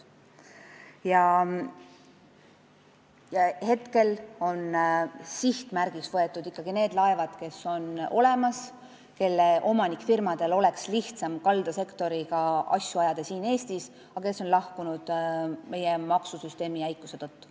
Praegu on sihtmärgiks võetud ikkagi need laevad, mis on olemas ja mille omanikfirmadel oleks lihtsam ajada kaldasektoriga asju siin Eestis, aga mis on siit lahkunud meie maksusüsteemi jäikuse tõttu.